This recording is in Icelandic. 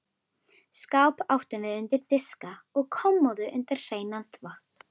Skáp áttum við undir diska og kommóðu undir hreinan þvott.